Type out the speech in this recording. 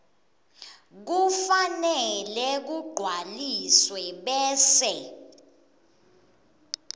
kufanele kugcwaliswe bese